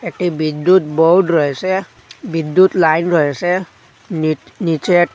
একটি বিদ্যুৎ বোর্ড রয়েসে বিদ্যুৎ লাইন রয়েসে নিট-নিচের--